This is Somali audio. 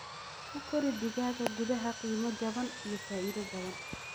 Ku kori digaaga gudaha qiimo jaban iyo faa'iido badan.